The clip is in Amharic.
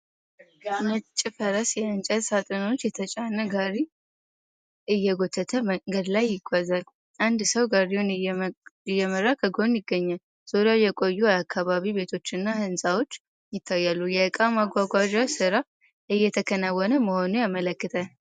ነጭ ፈረስ የእንጨት ሳጥኖች የተጫነ ጋሪ እየጎተተ መንገድ ላይ ይጓዛል። አንድ ሰው ጋሪውን እየመራ ከጎኑ ይገኛል። ዙሪያው የቆዩ የአካባቢ ቤቶችና ሕንፃዎች ይታያሉ፤ የዕቃ ማጓጓዣ ሥራ እየተከናወነ መሆኑን ያመለክታል።